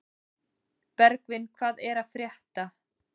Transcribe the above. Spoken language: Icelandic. Bergvin, hvað er að frétta?